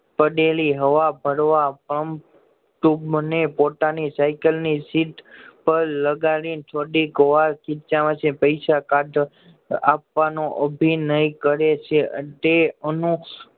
પડેલી હવા ભરવા પંપ ટ્યૂબને પોતાની સાયકલને સીટ પર લગાદીન થોડી વાર ખીચા માંથી પૈસા કાઢ આપવાનો અભિનય કરે છે તે અનુ